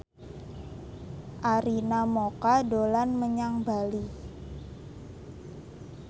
Arina Mocca dolan menyang Bali